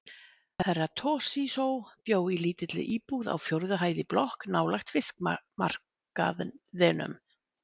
Herra Toshizo bjó í lítilli íbúð á fjórðu hæð í blokk nálægt fiskmarkaðinum.